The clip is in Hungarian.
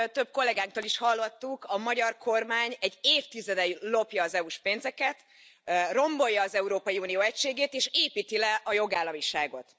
Ahogy több kollegánktól is hallottuk, a magyar kormány egy évtizede lopja az EU s pénzeket, rombolja az Európai Unió egységét és építi le a jogállamiságot.